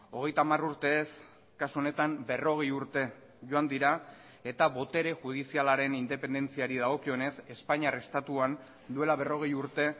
hogeita hamar urte ez kasu honetan berrogei urte joan dira eta botere judizialaren independentziari dagokionez espainiar estatuan duela berrogei urte